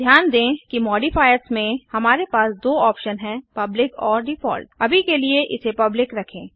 ध्यान दें कि मोडिफाइयर्स में हमारे पास दो ऑप्शन्स हैं पब्लिक और डिफॉल्ट अभी के लिए इसे पब्लिक रखें